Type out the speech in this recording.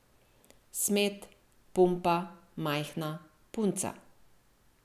Smet, pumpa, majhna, punca!